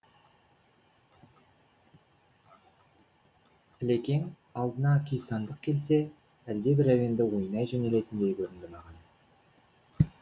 ілекең алдына күйсандық келсе әлде бір әуенді ойнай жөнелетіндей көрінді маған